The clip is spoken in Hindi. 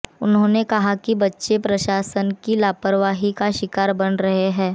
उन्होंने कहा कि बच्चे प्रशासन की लापरवाही का शिकार बने हैं